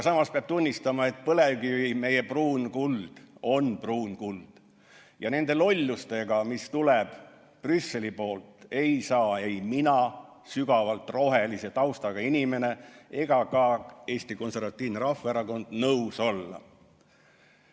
Samas peab tunnistama, et põlevkivi, meie pruun kuld, on pruun kuld, ja nende lollustega, mis tuleb Brüsseli poolt, ei saa ei mina, sügavalt rohelise taustaga inimene, ega ka Eesti Konservatiivne Rahvaerakond nõus olla.